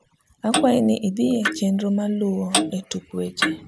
akwai ni idhie chenro maluo e tuk wech